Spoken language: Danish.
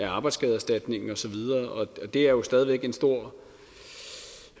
arbejdsskadeerstatningen og så videre og det er jo stadig væk en stor